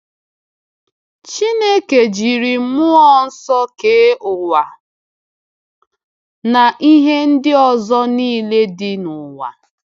Chineke jiri Mmụọ Nsọ kee ụwa na ihe ndị ọzọ niile dị n’ụwa.